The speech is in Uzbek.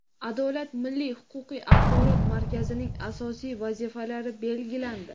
"Adolat" milliy huquqiy axborot markazining asosiy vazifalari belgilandi.